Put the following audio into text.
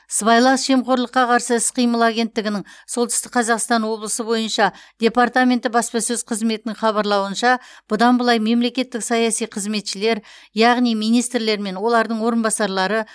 сыбайлас жемқорлыққа қарсы іс қимыл агенттігінің солтүстік қазақстан облысы бойынша департаменті баспасөз қызметінің хабарлауынша бұдан былай мемлекеттік саяси қызметшілер яғни министрлер мен олардың орынбасарлары